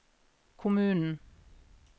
kommunen